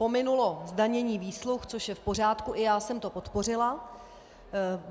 Pominulo zdanění výsluh, což je v pořádku, i já jsem to podpořila.